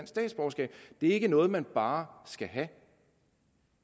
statsborgerskab det er ikke noget man bare skal have